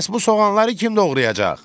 Bəs bu soğanları kim doğrayacaq?